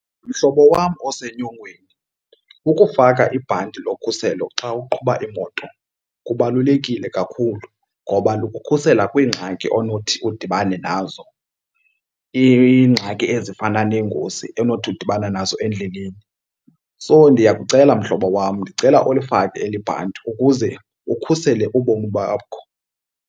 Mhlobo wam osenyongweni, ukufaka ibhanti lokhuselo xa uqhuba imoto kubalulekile kakhulu ngoba lukukhusela kwiingxaki onothi udibane nazo, iingxaki ezifana neengozi onothi udibane nazo endleleni. So ndiyakucela mhlobo wam, ndicela ulifake eli bhanti ukuze ukhusele ubomi bakho.